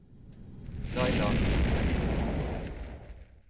Laila Gilje